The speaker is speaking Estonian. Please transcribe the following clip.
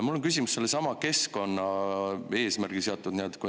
Mu küsimus on sellesama keskkonnaeesmärgiga seotud.